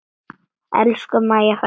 Elsku Mæja frænka.